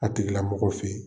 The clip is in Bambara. A tigilamɔgɔw fɛ yen